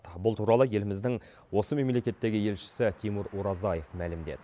бұл туралы еліміздің осы мемлекеттегі елшісі тимур оразаев мәлімдеді